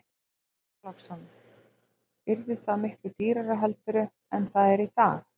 Björn Þorláksson: Yrði það miklu dýrara heldur en það er í dag?